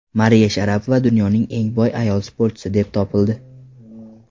Mariya Sharapova dunyoning eng boy ayol sportchisi deb topildi.